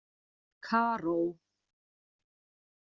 Karó